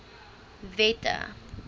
wette